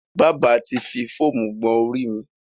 Bábà ti fi fóómú gbọn orí mi.